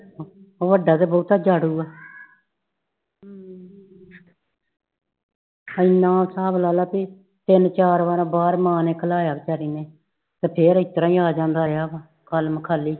ਵਡਾ ਤੇ ਬਹੁਤਾ ਉਜਾੜੂ ਆ ਇਨਾ ਹਿਸਾਬ ਲਾ ਲੈ ਭੀ ਤਿਨ ਚਾਰ ਵਾਰਾ ਬਾਹਰ ਮਾਂ ਨੇ ਖਲਾਯਾ ਵਿਚਾਰੀ ਨੇ ਫੇਰ ਇਸ ਤਰਾਂ ਹੀ ਆ ਜਾਂਦਾ ਰਯਾ ਵਾ ਖਾਲਮਖਾਲੀ